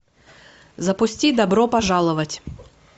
запусти добро пожаловать